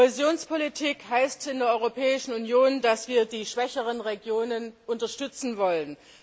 Kohäsionspolitik heißt in der Europäischen Union, dass wir die schwächeren Regionen unterstützen wollen.